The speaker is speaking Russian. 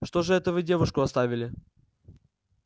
что же это вы девушку оставили